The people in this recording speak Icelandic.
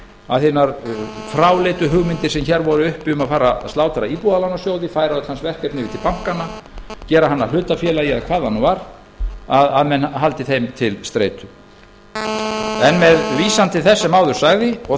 að hinar fráleitu hugmyndir sem hér voru uppi um að fara að slátra íbúðalánasjóði færa hans verkefni yfir til bankanna gera hann að hlutafélagi eða hvað það nú var að menn haldi þeim til streitu en með vísan til þess sem áður sagði og